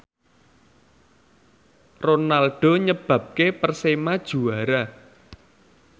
Ronaldo nyebabke Persema juara